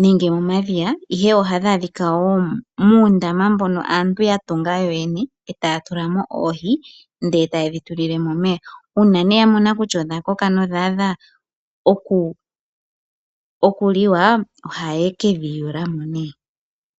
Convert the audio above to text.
nenge momadhiya, ihe ohadhi adhika wo muundama mbono aantu ya tunga yo yene etaya tula mo oohi ndele taye dhi tulile mo omeya. Uuna yamona kutya odha koka nodha adha oku liwa ohaye kedhi yula mo.